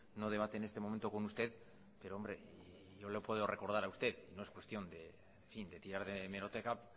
no debate en este momento con usted pero hombre yo le puedo recordar a usted no es cuestión de tirar de hemeroteca